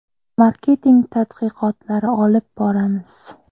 Marketing tadqiqotlari olib boramiz.